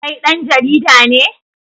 Kai dan jarida ne?